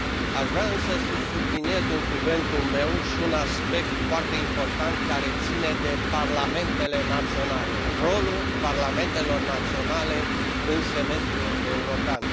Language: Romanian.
Aș vrea însă să subliniez în cuvântul meu și un aspect foarte important, care ține de parlamentele naționale rolul parlamentelor naționale în semestrul european.